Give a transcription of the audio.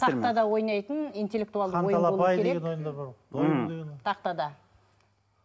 тақтада ойнайтын интелектуалды ойын болуы керек м тақтада